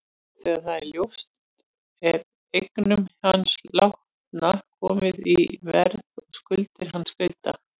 Þegar það er ljóst er eignum hins látna komið í verð og skuldir hans greiddar.